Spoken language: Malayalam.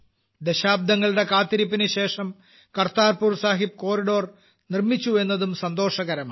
ദശാബ്ദങ്ങളുടെ കാത്തിരിപ്പിനുശേഷം കർതാർപുർ സാഹബ് ഇടനാഴി നിർമ്മിച്ചു എന്നതും സന്തോഷകരമാണ്